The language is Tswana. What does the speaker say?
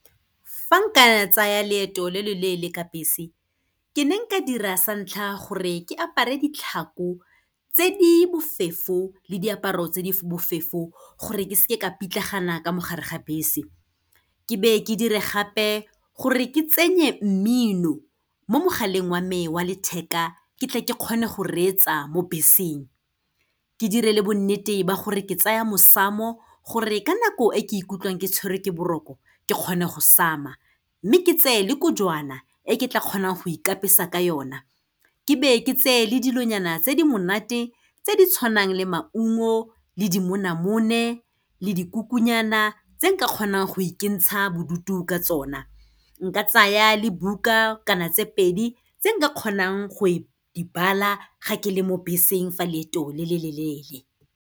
Fa nka ya tsaya leeto le lo leele ka bese, ke ne nka dira sa ntlha gore ke apare ditlhako tse di bofefo le diaparo tse di bofefo, gore ke se ke ka pitlagana ka mo gare ga bese. Ke be ke dirile gape gore ke tsenye mmino mo mogaleng wa me wa letheka, ke tle ke kgone go reetsa mo beseng. Ke dire le bonnete ba gore ke tsaya mosamo, gore ka nako e ke ikutlwang ke tshwerwe ke boroko, ke kgone go sama. Mme, ke tseye le kojwana e ke tla kgonang go ikapesa ka yona. Ke be ke tse le dilonyana tse di monate, tse di tshwanang le maungo le dimonamone, le dikukunyana tse nka kgonang go ikentsha bodutu ka tsona. Nka tsaya le buka kana tse pedi tse nka kgonang go e, di bala ga ke le mo beseng fa leeto le le lo leele.